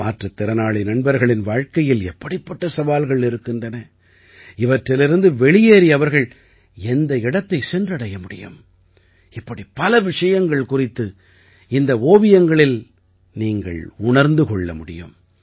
மாற்றுத் திறனாளி நண்பர்களின் வாழ்க்கையில் எப்படிப்பட்ட சவால்கள் இருக்கின்றன இவற்றிலிருந்து வெளியேறி அவர்கள் எந்த இடத்தைச் சென்றடைய முடியும் இப்படி பல விஷயங்கள் குறித்து இந்த ஓவியங்களில் நீங்கள் உணர்ந்து கொள்ள முடியும்